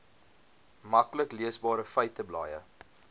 maklik leesbare feiteblaaie